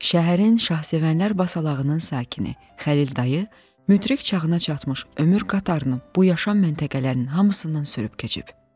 Şəhərin Şahsevənlər Basalağının sakini Xəlil dayı müdrik çağına çatmış ömür qatarını bu yaşam məntəqələrinin hamısından sürüb keçib.